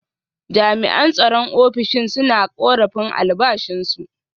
Jami’an tsaron ofishin suna korafin albashinsu.